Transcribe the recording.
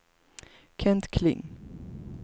Kent Kling